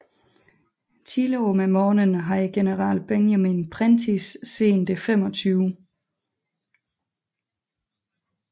Tidligt om morgenen havde general Benjamin Prentiss sendt det 25